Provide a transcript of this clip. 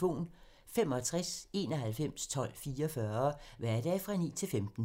Information om TV 2's programmer: 65 91 12 44, hverdage 9-15.